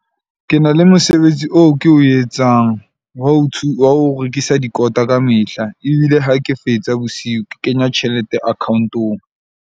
Ke na le mosebetsi oo ke o etsang wa ho wa ho rekisa dikota kamehla. Ebile ha ke fetsa bosiu. Ke kenya tjhelete account-ong.